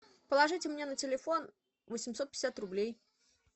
положите мне на телефон восемьсот пятьдесят рублей